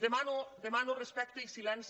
demano respecte i silenci